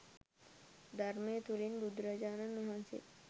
ධර්මය තුළින්ම බුදුරජාණන් වහන්සේ